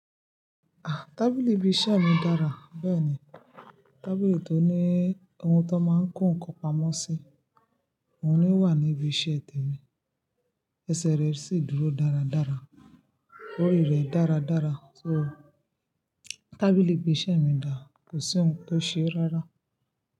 Ah, tábìlì ìbiisẹ̀ mi dára. Bẹ́ẹ̀ni, tábìlì tó ní ohun tón máa ń kó nǹkan pamọ́ sí, òun ni wà níbi iṣẹ́ tèmi. Ẹsẹ̀ rẹ̀ sì dúró dáradára, orì rẹ̀ dáradára. So, tábìlì ìgbésẹ̀ mi dà, kò sí ohun tó ṣe rárá.